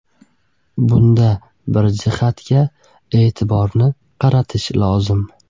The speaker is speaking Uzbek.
Bunda bir jihatga e’tiborni qaratish lozim.